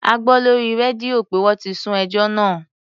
A gbọ́ lórí rédíò pé wọ́n ti sún ẹjọ́ náà.